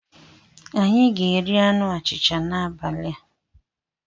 Anyị ga-eri anụ achịcha n'abalị a.